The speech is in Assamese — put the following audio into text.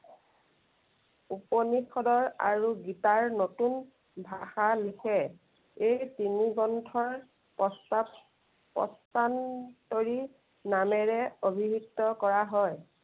উপনিষদৰ আৰু গীতাৰ নতুন ভাষা লিখে। এই তিনি গ্ৰন্থৰ প্ৰস্তাৱ, প্ৰস্তান্তৰি নামেৰে অভিহিত কৰা হয়।